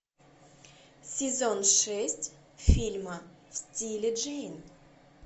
сезон шесть фильма в стиле джейн